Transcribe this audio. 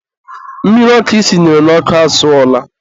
mmiri ọkụ i sinyere n'ọkụ asụọla.